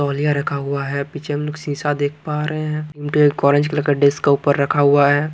तौलिया रखा हुआ है पीछे हम लोग सींसा देख पा रहे हैं एक ऑरेंज कलर का डेस्क का ऊपर रखा हुआ है।